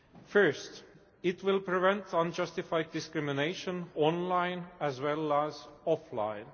First, it will prevent unjustified discrimination, online as well as offline.